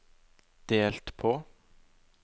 delt på